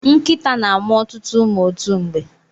Nkịta na-amụ ọtụtụ ụmụ otu mgbe.